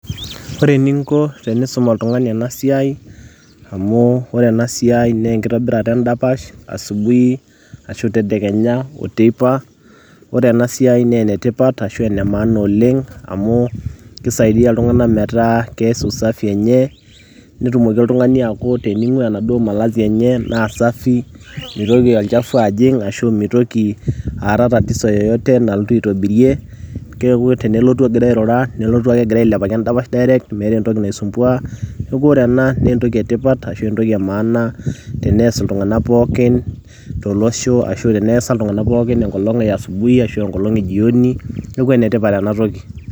ore eninko tenisum oltung'ani ena siai amu wore enasiai naa enkitobirata endapash asubuhi ashu tedekenya oteipa ore ena siai naa enetipat ashu ene maana oleng kisaidia iltung'anak metaa kees usafi enye netumoki oltung'ani aaku tening'ua enaduo malazi enye naa safi mitoki olchafu ajing ashu mitoki aata tatizo yeyote nalotu aitobirie keeku tenelotu egira airura nelotu ake egira ailepaki endapash direct meeta entoki naisumbua neeku ore ena naa entoki etipat ashu entoki e maana tenees iltung'anak pookin tolosho ashu teneesa iltung'anak pookin enkolong e asubuhi ashu enkolong e jioni neeku enetipata enatoki.